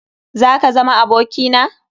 Zaka zama aboki na?